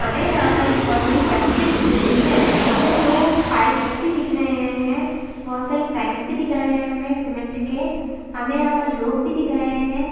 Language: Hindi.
हमे यहा पे एक बहुत बड़ी फ़ैक्टरि दिख रही है हमे दो पाइपस भी दिख रहे है बहुत सारे टंक्स भी दिख रहे है हमे सीमेंट के हमे यहा पर लोग भी दिख रहे है।